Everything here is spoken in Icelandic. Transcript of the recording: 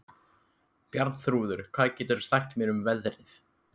Bjarnþrúður, hvað geturðu sagt mér um veðrið?